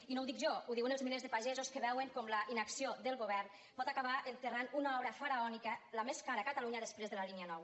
i no ho dic jo ho diuen els milers de pagesos que veuen com la inacció del govern pot acabar enterrant una obra faraònica la més cara a catalunya després de la línia nou